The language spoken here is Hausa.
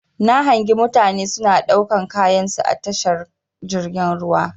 Na hangi mutane suna ɗaukan kayansu a tashar jirgin ruwa.